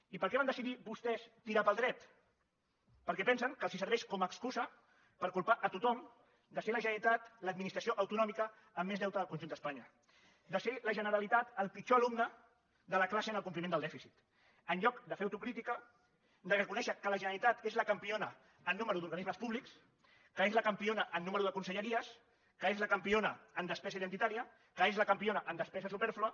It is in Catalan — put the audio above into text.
i per què van decidir vostès tirar pel dret perquè pensen que els serveix com a excusa per culpar tothom de ser la generalitat l’administració autonòmica amb més deute del conjunt d’espanya de ser la generalitat el pitjor alumne de la classe en el compliment del dèficit en lloc de fer autocrítica de reconèixer que la generalitat és la campiona en nombre d’organismes públics que és la campiona en nombre de conselleries que és la campiona en despesa identitària que és la campiona en despesa supèrflua